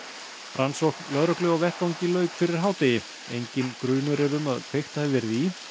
rannsókn lögreglu á vettvangi lauk fyrir hádegi enginn grunur er um að kveikt hafi verið í